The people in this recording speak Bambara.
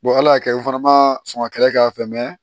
ala y'a kɛ u fana ma sɔn ka kɛlɛ k'a fɛ mɛ